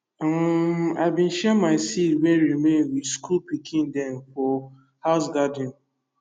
um i bin share my seed wey remain with school pikin dem for house garden